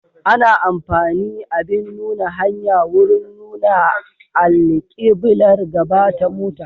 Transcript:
Ana amfani abin nuna hanya wurin nuna alkiblar gaba ta mota.